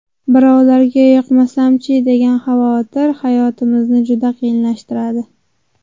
Birovlarga yoqmasam-chi, degan xavotir hayotimizni juda qiyinlashtiradi.